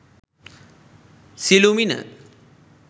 silumina